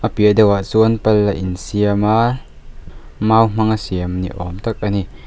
a piah deuhah chuan pal a insiam a mau hmang a siam niawm tak a ni.